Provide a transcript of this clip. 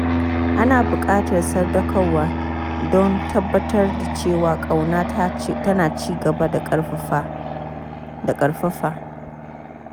Ana buƙatar sadaukarwa don tabbatar da cewa ƙauna tana ci gaba da ƙarfafa.